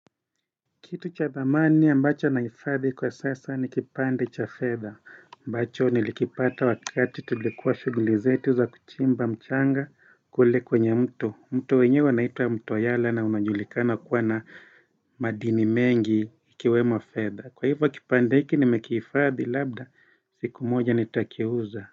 Kitu cha thamani ambacho naifadhi kwa sasa ni kipande cha fedha aMbacho nilikipata wakati tulikuwa shugulizetuza kuchimba mchanga kule kwenye mto mto wenye unaitwa mto yala na unajulikana kuwa na madini mengi ikiwemo fedha Kwa hivyo kipande hiki nimekiifadhi labda siku moja nitakiuza.